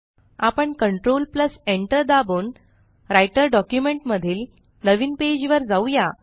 आपण control Enter दाबून Writerडॉक्युमेंट मधील नवीन पेज वर जाउया